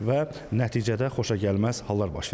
Və nəticədə xoşagəlməz hallar baş verir.